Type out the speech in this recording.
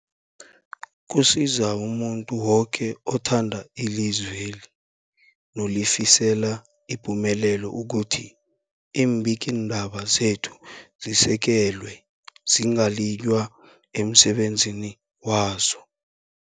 Kusiza umuntu woke othanda ilizweli nolifisela ipumelelo ukuthi iimbikiindaba zekhethu zisekelwe, zingaliywa emsebenzini wazo.